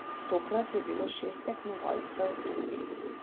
Tokrat je bilo šest tekmovalcev drugih.